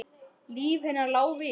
Líf hennar lá við.